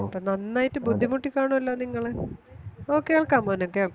നന്നായിട്ട് ബുദ്ധിമുട്ടിക്കാണുവല്ലോ നിങ്ങള് ഓ കേൾക്കാം മോനെ കേൾക്കാം